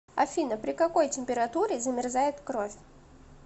афина при какой температуре замерзает кровь